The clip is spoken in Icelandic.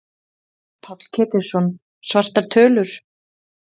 Páll Ketilsson: Svartar tölur?